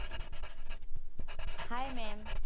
Hi maam.